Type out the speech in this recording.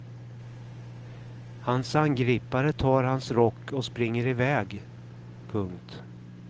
Hans angripare tar hans rock och springer iväg. punkt